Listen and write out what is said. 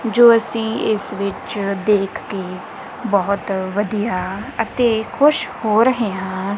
ਜੋ ਅਸੀਂ ਇਸ ਵਿੱਚ ਦੇਖ ਕੇ ਬਹੁਤ ਵਧੀਆ ਅਤੇ ਖੁਸ਼ ਹੋ ਰਹੇ ਹਾਂ।